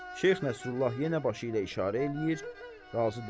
Şeyx Nəsrullah yenə başı ilə işarə eləyir, razı deyil.